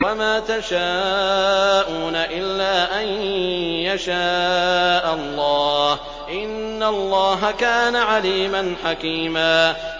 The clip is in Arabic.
وَمَا تَشَاءُونَ إِلَّا أَن يَشَاءَ اللَّهُ ۚ إِنَّ اللَّهَ كَانَ عَلِيمًا حَكِيمًا